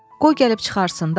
Qoy gəlib çıxarsın,